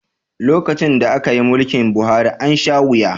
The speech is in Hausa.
Lokacin da aka yi mulkin Buhari, an sha wuya